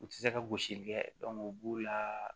U tɛ se ka gosili kɛ u b'u la